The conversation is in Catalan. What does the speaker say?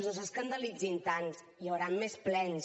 no s’escandalitzin tant hi haurà més plens